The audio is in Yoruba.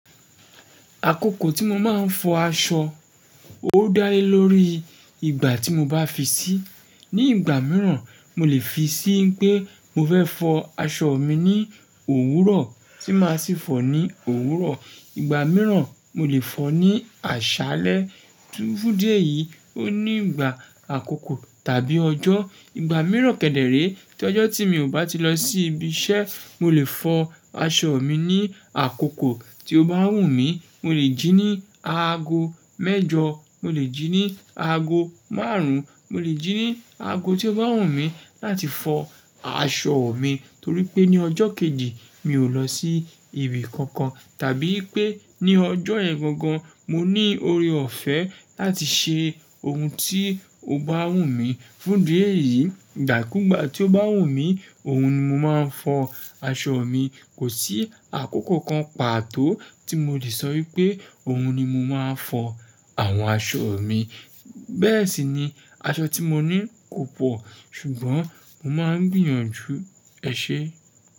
Àkókò tí mo máa ń fọ aṣọ, ó dá lé lórí ìgbà tí mo bá fi sí. Ni ìgbà mìíràn, mo lè fi sí pé mo fẹ́ fọ aṣọ mi ní òwúrọ̀ tí máa sì fọ̀ ní òwúrọ̀. Ìgbà mìíràn, mo lè fọ̀ ní àṣálẹ́. Fún dí ẹ̀yìí, ó ní ìgbà àkókò tàbí ọjọ́. Ìgbà mìíràn kẹ́dẹ̀ ré, tí ọjọ́ tí mi ò bá ti lọ sí ibi iṣẹ́, mo lè fọ aṣọ mi ní àkókò tí ó bá wù mí. Mo lè jí ní aago mẹ́jọ, mo lè jí ní aago márùn-ún, mo lè jí ní aago tí ó bá wù mí láti fọ aṣọ mi. Torí pé ní ọjọ́ kejì, mi ò lọ sí ibi kankan. Tàbí pé ní ọjọ́ yẹn gangan, mo ní oore ọ̀fẹ́ láti ṣe ohun tí ó bá wù mí. Fún dí ẹ̀yìí, ìgbà kú ìgbà tí ó bá wù mí, òun ni mo máa ń fọ aṣọ mi. Kò sí àkókò kan pàtó tí mo le sọ wípé òun ni mo máa fọ àwọn aṣọ mi. Bẹ́ẹ̀ sì ni, aṣọ tí mo ní kò pọ̀, ṣùgbọ́n mo máa ń gbìyànjú ẹṣẹ.